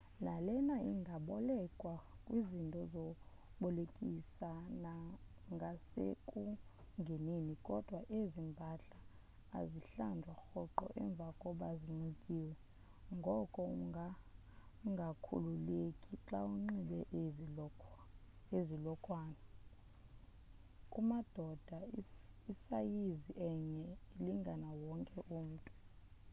nalena ingabolekwa kwizinto zokubolekisa ngasekungeneni kodwa ezi mpahla azihlanjwa rhoqo emva koba zinxityiwe ngoko ungangakhululeki xa unxibe ezi lokhwana kumadoda isayizi enye ilingana wonke umntu